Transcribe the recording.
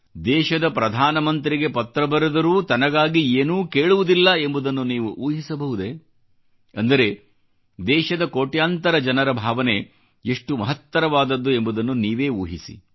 ದೇಶದ ಪ್ರಧಾನಮಂತ್ರಿಗೆ ಪತ್ರ ಬರೆದರೂ ತನಗಾಗಿ ಏನೂ ಕೇಳುವುದಿಲ್ಲ ಎಂಬುದನ್ನು ನೀವು ಊಹಿಸಬಹುದೇ ಅಂದರೆ ದೇಶದ ಕೋಟ್ಯಾಂತರ ಜನರ ಭಾವನೆ ಎಷ್ಟು ಮಹತ್ತರವಾದದ್ದು ಎಂಬುದನ್ನು ನೀವೇ ಊಹಿಸಿ